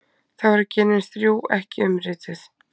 Þá eru genin þrjú ekki umrituð.